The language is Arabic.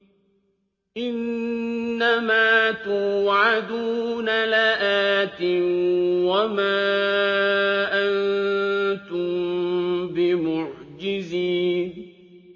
إِنَّ مَا تُوعَدُونَ لَآتٍ ۖ وَمَا أَنتُم بِمُعْجِزِينَ